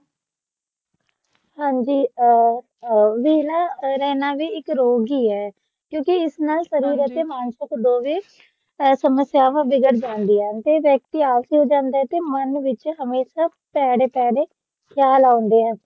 ਹਾਂਜੀ ਅ ਅ ਵੀ ਨਾ ਰਹਿਣਾ ਵੀ ਇਕ ਰੋਗ ਹੀ ਹੈ ਕਿਉਕਿ ਇਸ ਨਾਲ ਸ਼ਰੀਰਕ ਅਤੇ ਮਾਨਸਿਕ ਦੋਵੇ ਸਮਸਿਆਵਾਂ ਬਿਘੜ ਜਾਂਦੀਆਂ ਨੇ ਵਿਅਕਤੀ ਨਿਰਾਸ਼ ਹੋ ਜਾਂਦਾ ਹੈ ਤੇ ਮਨ ਵਿਚ ਹਮੇਸ਼ਾ ਭੈੜੇ ਭੈੜੇ ਖ਼ਯਾਲ ਆਉਂਦੇ ਹਨ